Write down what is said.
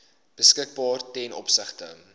beskikbaar ten opsigte